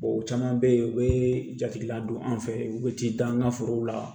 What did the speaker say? o caman bɛ yen u bɛ jate la don an fɛ yen u bɛ ti dan an ka forow la